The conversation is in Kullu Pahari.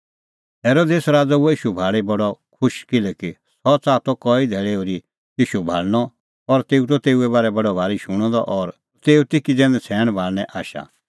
हेरोदेस हुअ ईशू भाल़ी बडअ खुश किल्हैकि सह च़ाहा त कई धैल़ै ओर्ही ईशू भाल़णअ और तेऊ त तेऊए बारै बडअ भारी शूणअ द और तेऊ ती किज़ै नछ़ैणां हेरने आशा